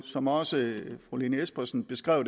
som også fru lene espersen beskrev